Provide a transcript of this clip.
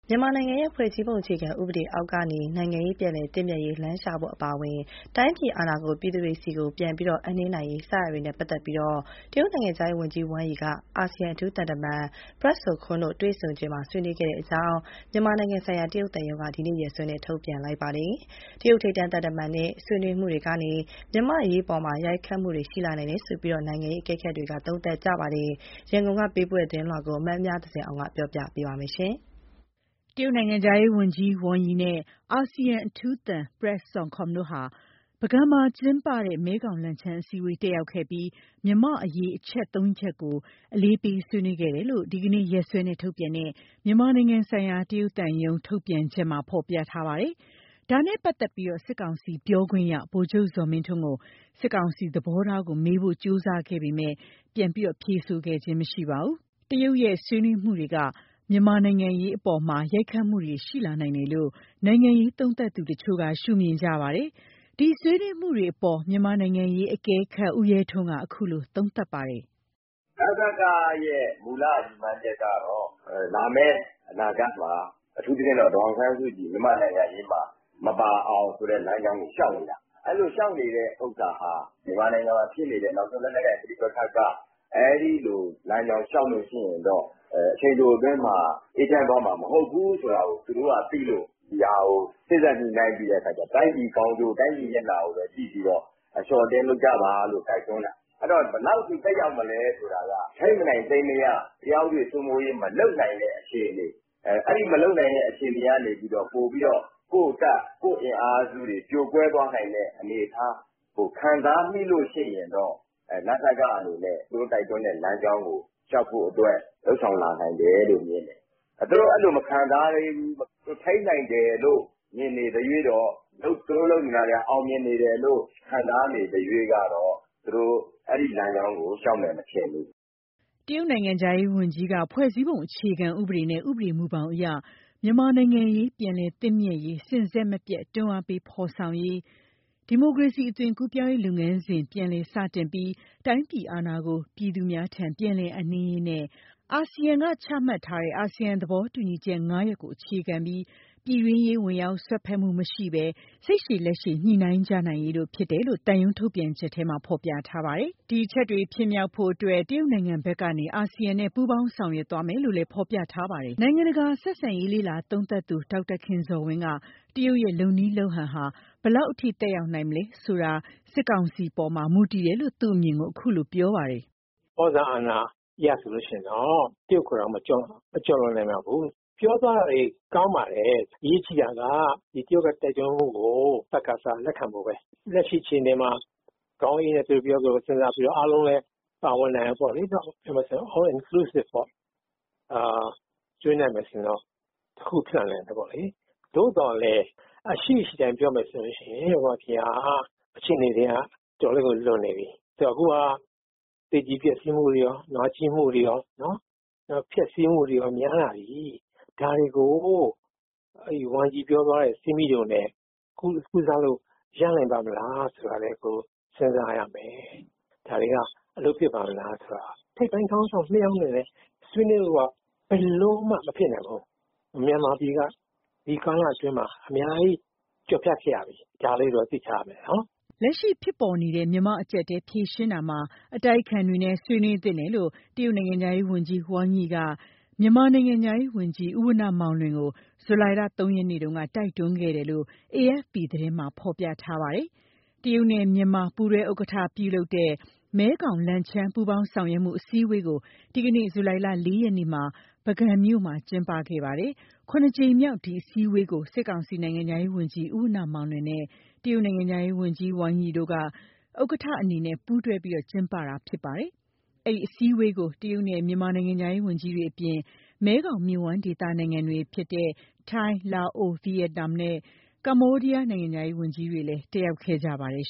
မြန်မာနိုင်ငံရဲ့ ဖွဲ့စည်းပုံအခြေခံဥပဒေအောက်ကနေ နိုင်ငံရေးပြန်လည်သင့်မြတ်ရေး လမ်းရှာဖို့ အပါအဝင် တိုင်းပြည်အာဏာကို ပြည်သူတွေထံ ပြန်လည်အပ်နှင်းနိုင်ရေး စတာတွေနဲ့ပတ်သတ်လို့ တရုတ်နိုင်ငံခြားဝန်ကြီး Wang Yi က အာဆီယံအထူးသံ Prak Sokhonn တို့ တွေ့ဆုံချိန်မှာ ဆွေးနွေးခဲ့တယ် လို့ မြန်မာနိုင်ငံဆိုင်ရာ တရုတ်သံရုံးက ဒီကနေ့ရက်စွဲနဲ့ ထုတ်ပြန်လိုက်ပါတယ်။ တရုတ်ထိပ်တန်းသံတမန်ရဲ့ဆွေးနွေးမှုတွေကနေ မြန်မာ့နိုင်ငံရေးအပေါ် ရိုက်ခတ်မှုတွေရှိလာနိုင်တယ်လို့ နိုင်ငံရေးအကဲခတ်တွေက သုံးသပ်ပါတယ်။ ရန်ကုန်ကပေးပို့လာတဲ့ သတင်းကို မမြဇင်အောင်က တင်ပြပါမယ်။ တရုတ်နိုင်ငံခြားဝန်ကြီး Wang Yi နဲ့ အာဆီယံအထူးသံ Prak Sokhonn တို့ဟာ ပုဂံမှာကျင်းပတဲ့ မဲခေါင်-လန်ချန်း အစည်းအဝေးတက်ရောက်ခဲ့ပြီး မြန်မာ့အရေးအချက်သုံးရပ်ကို အလေးပေးဆွေးနွေးခဲ့ကြတယ်လို့ ဒီကနေ့ ရက်စွဲနဲ့ထုတ်ပြန်တဲ့ မြန်မာနိုင်ငံဆိုင်ရာ တရုတ်သံရုံးထုတ်ပြန် ချက်မှာဖော်ပြလိုက်ပါတယ်။ ဒါနဲ့ပတ်သတ်လို့ စစ်ကောင်စီပြောခွင့်ရ ဗိုလ်ချုပ်ဇော်မင်းထွန်းကို စစ်ကောင်စီ သဘောထားကို မေးဖို့ ကြိုးစားခဲ့ပေမယ့် ပြန်လည်ဖြေဆိုခြင်းမရှိခဲ့ပါဘူး။ တရုတ်ရဲ့ဆွေးနွေးမှုတွေက မြန်မာ့နိုင်ငံရေးအပေါ် ရိုက်ခတ်မှုတွေရှိလာနိုင်တယ်လို့ နိုင်ငံရေးသုံးသပ်သူ တချို့က ရှုမြင်ကြပါတယ်။ ဒီဆွေးနွေးမှုတွေအပေါ် မြန်မာ့နိုင်ငံရေးအကဲခတ် ဦးရဲထွန်းက အခုလို သုံးသပ်လိုက်ပါတယ်။ “ နစကမူလရည်မှန်းချက်ကတော့ လာမယ့်အနာဂတ်မှာ အထူးသဖြင့်တော့ မြန်မာ့နိုင်ငံရေးမှာ ဒေါ်အောင်ဆန်းစုကြည် မပါအောင်ဆိုတဲ့လမ်းကြောင်းကိုလျှောက်နေတာ။ အဲလိုလျှောက်နေတာက မြန်မာနိုင်ငံမှာ ဖြစ်နေတဲ့လက်နက်ကိုင်ပဋိပက္ခက အဲလိုလမ်းကြောင်းလျှောက်နေရင်တော့ အချိန်တိုအတွင်းမှာ အေးချမ်းသွားမှာ မဟုတ်ဘူးဆိုတာကို သူတို့ကသိလို့ ဒါကို စေ့စပ်ညှိုနှိုင်းပြီး တိုင်းပြည်မျက်နှာကိုကြည့်ဖို့ အလျော့အတင်းလုပ်ဖို့တိုက်တွန်းတာ ဘယ်လောက် သက်ရောက်မလဲဆိုတာကတော့ ထိန်းမနိုင်သိမ်းမရ တရားဥပဒေစိုးမိုးရေးမလုပ်နိုင်တဲ့ အခြေအနေ။ အဲဒီအခြေအနေက ကိုယ့်တပ်ကိုယ့်အင်အားပြိုလဲမယ့်အနေအထားကို ခံစားမိရင်တော့ သူတို့တိုက်တွန်းတဲ့လမ်းကြောင်းကို နစကအနေနဲ့ လျှောက်ဖို့ လုပ်ဆောင်လာနိုင်တယ်လို့မြင်တယ်။ သူတို့အဲလိုမခံစားရဘူး သူတို့ထိန်းနိုင်တယ်။ သူတို့လုပ်တာ အောင်မြင်တယ်လို့ ယူဆနေရင်တော့ အဲလမ်းကြောင်းကိုလျှောက်မယ်မထင်ဘူး။” တရုတ်နိုင်ငံခြားရေးဝန်ကြီးက ဖွဲ့စည်းပုံအခြေခံဥပဒေနဲ့ ဥပဒေမူဘောင်အရ၊ မြန်မာ့နိုင်ငံရေးပြန်လည်သင့်မြတ်ရေး စဉ်ဆက်မပြတ် တွန်းအားပေးဖော်ဆောင်ရေး၊ ဒီမိုကရေစီအသွင်ကူးပြောင်းရေးလုပ်ငန်းစဉ် ပြန်လည်စတင်ပြီး တိုင်းပြည်အာဏာကို ပြည်သူများထံ ပြန်လည်အပ်နှင်းရေး နဲ့ အာဆီယံကချမှတ်ထားတဲ့ “အာဆီယံသဘောတူညီချက် ၅ ရပ်ကို အခြေခံပြီး ပြည်တွင်းရေး ဝင်ရောက်စွက်ဖက်မှုမရှိဘဲ၊ စိတ်ရှည်လက်ရှည် ညှိနှိုင်းကြနိုင်ရေးတို့ ဖြစ်တယ်လို့ သံရုံးထုတ်ပြန်ချက်ထဲမှာဖော်ပြထားပါတယ်။ ဒီအချက်တွေ ဖြစ်မြောက်ဖို့အတွက် တရုတ်နိုင်ငံဘက်ကနေ အာဆီယံနဲ့ ပူးပေါင်းဆောင်ရွက်သွားမယ်လို့လည်း ရေးသားထားပါတယ်။ နိုင်ငံတကာဆက်ဆံရေးလေ့လာသုံးသပ်သူ ဒေါက်တာခင်ဇော်ဝင်းကတော့ တရုတ်ရဲ့ လုပ်နည်းလုပ်ဟန်က ဘယ်လောက်ထိသက်ရောက်နိုင်မလဲဆိုတာက စစ်ကောင်စီပေါ်မှာ မူတည်တယ်လို့ သူ့အမြင်ကိုခုလိုပြောပြပါတယ် “ဩဇာအာဏာအရဆိုရင်တော့ တရုတ်ကိုမကျော်လွန်နိုင်ပါဘူး။ ပြောတာတွေကောင်းပါတယ်။ အရေးကြီးတာက တရုတ်တိုက်တွန်းဖို့ကို စကစကလက်ခံဖို့ဘဲခုလက်ရှိချိန်မှာ ခေါင်းအေးအေးနဲ့ စဉ်းစားပြီး အားလုံးပါဝင်ဖို့ပေါ့လေ All-inclusive ပေါ့နော်။ ဆွေးနွေးနိုင်မယ်ဆိုရင်တော့ တခုခုဖြစ်နိုင်တယ်ပေါ့လေ။ သို့သော်လည်း အရှိအရှိအတိုင်း ပြောရမယ်ဆို မြန်မာပြည်က တော်တော်လေးလွန်နေပြီ သေကြေပျက်ဆီးမှုတွေကော နာကျည်းမှုတွေကော နောက်ဖျက်ဆီးမှုတွေများလာပြီ။ ဒါတွေကို Yang Yi ပြောတဲ့ဆေးမြီးတိုနဲ့ကုနိုင်ပါ့မလားစဉ်းစားရမယ်။ ဒါကအလုပ်ဖြစ်ပါ့မလားဆိုတာ။ ထိပ်ပိုင်းခေါင်းဆောင် ၂ ယောက်နဲ့ဘဲဆွေးနွေးဖို့ဆိုတာ ဘယ်လိုမှမဖြစ်နိုင်ဘူး။ မြန်မာပြည်က ဒီကာလအတွင်းအများကြီးကျော်ဖြတ်ခဲ့ရပြီ ဒါလေးကိုတော့သိထားရမယ်။” လက်ရှိဖြစ်ပေါ်နေတဲ့ မြန်မာ့အကျပ်အတည်းဖြေရှင်းရာမှာ အတိုက်အခံတွေနဲ့ ဆွေးနွေးသင့်တယ်လို့ တရုတ်နိုင်ငံခြားရေးဝန်ကြီး Wang Yi က မြန်မာနိုင်ငံခြားရေးဝန်ကြီးဦးဝဏ္ဏမောင်လွင်ကို ဇူလိုင်လ ၃ ရက်နေ့က တိုက်တွန်းခဲ့တယ်လို့ အေအက်ဖ်ပီ သတင်းမှာ ဖော်ပြထားပါတယ်။ တရုတ်နဲ့ မြန်မာ ပူးတွဲဥက္ကဋ္ဌ ပြုလုပ်တဲ့ ၇ ကြိမ်မြောက် မဲခေါင် လန်ချန်း ပူးပေါင်းဆောင်ရွက်မှု နိုင်ငံခြားရေး ဝန်ကြီးများ အစည်းအဝေးကို ဒီနေ့ ဇူလိုင်လ ၄ ရက်မှာ ပုဂံမြို့မှာ ကျင်းပခဲ့ပါတယ်။ အဲဒီအစည်းအဝေးကို တရုတ်နဲ့ မြန်မာနိုင်ငံခြားရေးဝန်ကြီးတွေ အပြင် မဲခေါင်မြစ်ဝှမ်းဒေသနိုင်ငံတွေဖြစ်တဲ့ ထိုင်း၊ လာအို၊ ဗီယက်နမ်နဲ့ ကမ္ဘောဒီးယားနိုင်ငံတို့က နိုင်ငံခြားရေးဝန်ကြီးတွေလည်း တက်ရောက်ခဲ့ကြပါတယ်